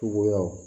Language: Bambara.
Cogoyaw